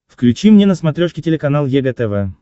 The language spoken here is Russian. включи мне на смотрешке телеканал егэ тв